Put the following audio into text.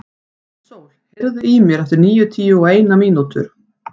Náttsól, heyrðu í mér eftir níutíu og eina mínútur.